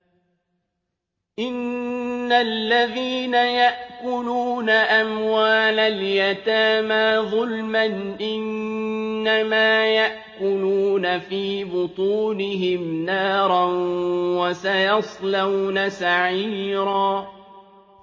إِنَّ الَّذِينَ يَأْكُلُونَ أَمْوَالَ الْيَتَامَىٰ ظُلْمًا إِنَّمَا يَأْكُلُونَ فِي بُطُونِهِمْ نَارًا ۖ وَسَيَصْلَوْنَ سَعِيرًا